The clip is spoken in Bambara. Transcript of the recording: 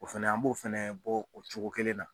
O fɛnɛ an b'o fɛnɛ bɔ o cogo kelen na.